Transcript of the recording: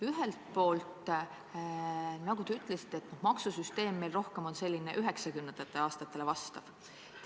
Ühelt poolt, nagu te ütlesite, maksusüsteem on meil rohkem on selline 90-ndatele vastav.